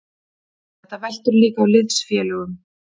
Þetta veltur líka á liðsfélögunum.